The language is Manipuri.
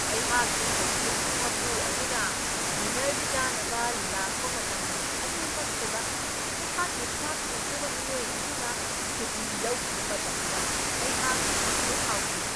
ꯑꯩꯍꯥꯛꯀꯤ ꯊꯧꯁꯤꯜꯒꯤ ꯃꯄꯨ ꯑꯗꯨꯅ ꯗꯤꯅꯔ ꯆꯥꯅꯕ ꯂꯥꯛꯕ ꯃꯇꯝ ꯑꯗꯨꯃꯛꯇꯗ ꯑꯩꯍꯥꯛꯀꯤ ꯆꯥꯛ ꯊꯣꯡꯅꯕ ꯃꯤꯑꯣꯏ ꯑꯗꯨꯅ ꯁꯨꯇꯤ ꯂꯧꯈꯤꯕ ꯃꯇꯝꯗ ꯑꯩꯍꯥꯛꯅ ꯌꯥꯝꯅ ꯁꯥꯎꯈꯤ ꯫